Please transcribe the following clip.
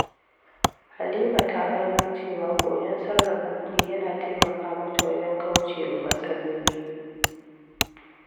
Halima ta gano cewa koyon sarrafa kudi yana taimaka mata wajen kauce wa matsaloli.